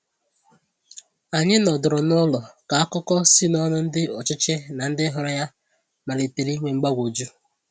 Anyị nọdụrụ n’ụlọ ka akụkọ si n’ọnụ ndị ọchịchị na ndị hụrụ ya malitere inwe mgbagwoju.